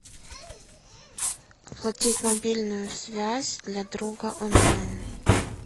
оплатить мобильную связь для друга онлайн